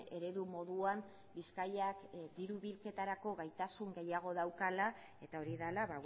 eredu moduan bizkaiak diru bilketarako gaitasun gehiago daukala eta hori dela